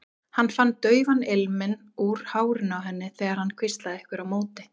Hann fann daufan ilminn úr hárinu á henni þegar hann hvíslaði einhverju á móti.